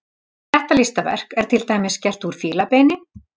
Þetta listaverk er til dæmis gert úr fílabeini.